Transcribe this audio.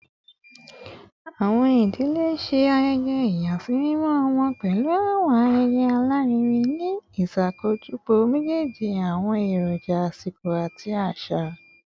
Awọn idile ṣe ayẹyẹ ìyàsímímọ ọmọ pẹlu awọn ayẹyẹ alarinrin, ni iṣakojọpọ mejeeji awọn eroja asiko ati aṣa.